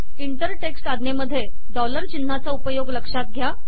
inter text आज्ञेमधे dollar चिन्हाचा उपयोग लक्षात घ्या